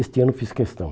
Este ano fiz questão.